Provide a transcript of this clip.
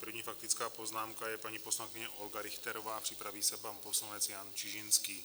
První faktická poznámka je paní poslankyně Olga Richterová, připraví se pan poslanec Jan Čižinský.